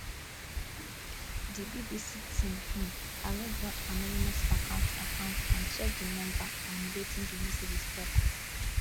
di bbc team um arrange one anonymous account account and check di number and wetin di messages tok